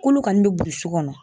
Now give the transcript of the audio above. K'olu kɔni bɛ burusi kɔnɔ.